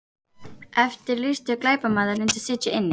Eftirlýstur glæpamaður reyndist sitja inni